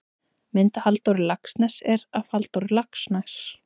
mynd af halldóri laxness er af halldór laxness